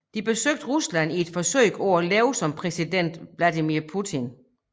De besøger Rusland i et forsøg at leve som præsident Vladimir Putin